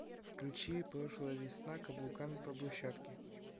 включи прошлая весна каблуками по брусчатке